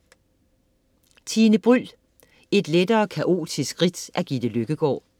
Tine Bryld: Et lettere kaotisk ridt af Gitte Løkkegaard